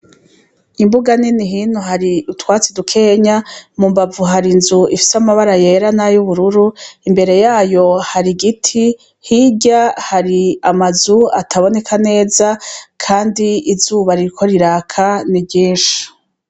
Imbuga nini hinu hari utwatsi dukenya mu mbavu hari inzu ifise amabara yera nayo ubururu imbere yayo hari igiti hirya hari amazu ataboneka neza, kandi izubarirko riraka ni rinshi.